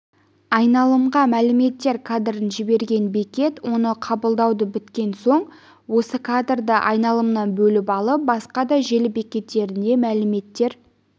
айналымға мәліметтер кадрын жіберген бекет оны қабылдауды бекіткен соң осы кадрды айналымнан бөліп алып басқа да желі бекеттеріне мәліметтер